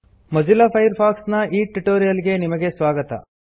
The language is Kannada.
ಮೊಜಿಲ್ಲಾ ಫೈರ್ಫಾಕ್ಸ್ ನ ಈ ಟ್ಯುಟೋರಿಯಲ್ ಗೆ ಸ್ವಾಗತ